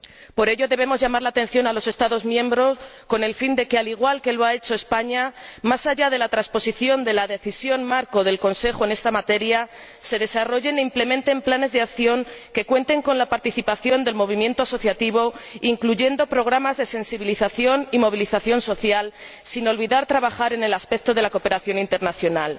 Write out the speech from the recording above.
Por ello, debemos llamar la atención a los Estados miembros con el fin de que, al igual que lo ha hecho España, más allá de la transposición de la decisión marco del Consejo en esta materia, se desarrollen e implementen planes de acción que cuenten con la participación del movimiento asociativo, incluyendo programas de sensibilización y movilización social, sin olvidar trabajar en el aspecto de la cooperación internacional